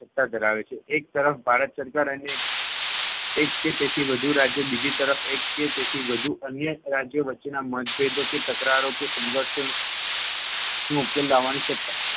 સત્તા ધરાવે છે. એક તરફ ભારત સરકાર અને એક કે તેથી વધુ રાજ્ય બીજી તરફ, એક કે તેથી વધુ અન્ય રાજ્યો વચ્ચેના મતભેદો કે તકરારો કે સંઘર્ષો નો ઉકેલ લાવવાની સત્તા